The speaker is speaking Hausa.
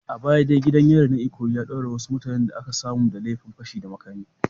A baya dai gidan yarin na Ikoyi ya daure wasu mutanen da aka samu da laifin fashi da makami.